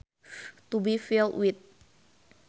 To be filled with